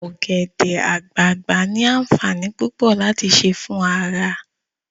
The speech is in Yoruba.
Ogbede-agbagba ni aanfanii pupo lati se fun ara